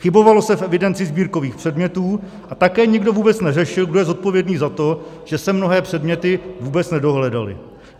Chybovalo se v evidenci sbírkových předmětů a také nikdo vůbec neřešil, kdo je zodpovědný za to, že se mnohé předměty vůbec nedohledaly.